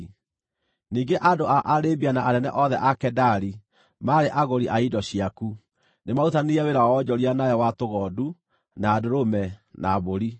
“ ‘Ningĩ andũ a Arabia na anene othe a Kedari maarĩ agũri a indo ciaku; nĩmarutithanirie wĩra wa wonjoria nawe wa tũgondu, na ndũrũme, na mbũri.